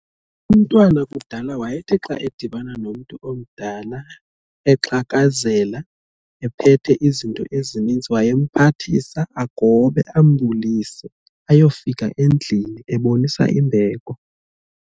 Umntwana kudala wayethi xa edibana nomntu omdala exhakazela ephethe izinto ezininzi wayemphathisa agobe ambulise ayofika endlini ebonisa imbeko.